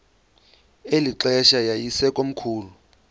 eli xesha yayisekomkhulu